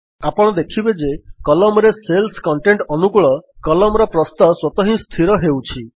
ଆପଣ ଦେଖିବେ ଯେ Columnରେ ସେଲ୍ସ କଣ୍ଟେଣ୍ଟ୍ ଅନୁକୂଳ Columnର ପ୍ରସ୍ତ ସ୍ୱତଃ ହିଁ ସ୍ଥିର ହେଉଛି